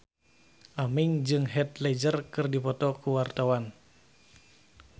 Aming jeung Heath Ledger keur dipoto ku wartawan